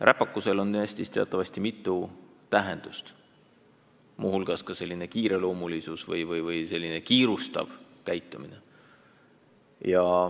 Räpakusel on Eestis teatavasti mitu tähendust, muu hulgas märgib see ka liigselt kiirustavat tegutsemist.